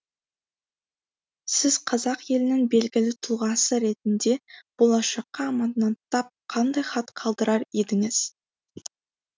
сіз қазақ елінің белгілі тұлғасы ретінде болашаққа аманаттап қандай хат қалдырар едіңіз